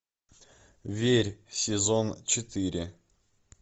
верь сезон четыре